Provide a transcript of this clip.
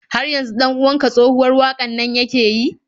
Har yanzu 'dan uwan ka tsohuwar waƙar nan yake yi?